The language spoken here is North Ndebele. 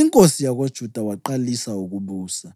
inkosi yakoJuda waqalisa ukubusa.